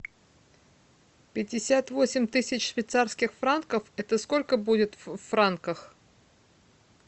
пятьдесят восемь тысяч швейцарских франков это сколько будет в франках